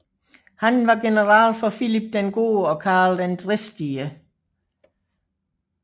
Han var general for Filip den Gode og Karl den Dristige